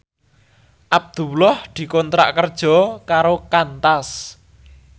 Abdullah dikontrak kerja karo Qantas